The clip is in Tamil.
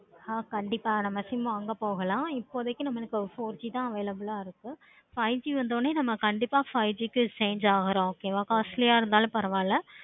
கண்டிப்பா நம்ம sim வாங்க போகலாம். இப்போதைக்கு four G தான் available ஆஹ் இருக்கு. five G வந்தனையும் நம்ம கண்டிப்பா five G க்கு change ஆகுறோம். okay வா costly ஆஹ் இருந்தாலும் பரவா இல்லை.